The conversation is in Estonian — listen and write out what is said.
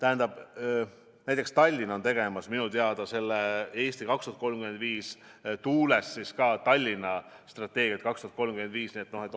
Aga näiteks Tallinn teeb minu teada selle "Eesti 2035" tuules Tallinna strateegiat kuni aastani 2035.